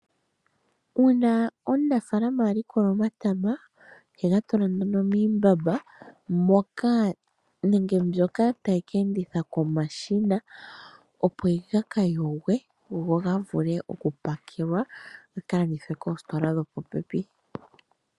Uuna omunafaalama a likola omatama ohega tula nduno miimbamba mbyoka tayi ka endithwa komashina, opo gaka yogwe go ga vule okupakelwa gaka landithwe koositola dhopopepi.